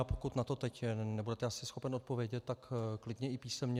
A pokud na to teď nebudete asi schopen odpovědět, tak klidně i písemně.